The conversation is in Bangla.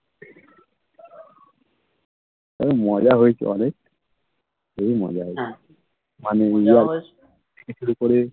তবে মজা হয়েছে অনেক খুবই মজা হয়েছে শুরু করে